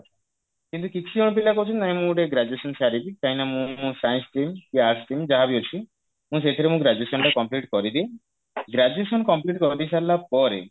କିନ୍ତୁ କିଛି ଜଣ ପିଲା କହୁଛନ୍ତି ନାଇଁ ମୁଁ ଗୋଟେ graduation ସାରିବି କାହିଁକି ନା ମୁଁ science stream କି arts stream ଯାହାବି ଅଛି ମୁଁ ସେଇଥିରେ ମୋ graduation ଟା complete କରିଦିଏ graduation complete କରିସାରିଲା ପରେ